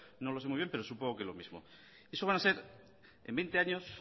no lo sé muy bien pero supongo que lo mismo eso van a ser en veinte años